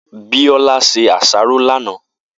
Biola se àsáró lánàá.